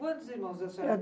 Quantos irmãos a senhora